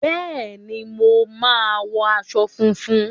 Bẹẹni, mo máa wọ aṣọ funfun.